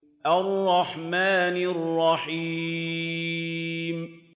الرَّحْمَٰنِ الرَّحِيمِ